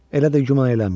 Elə də güman eləmişdim.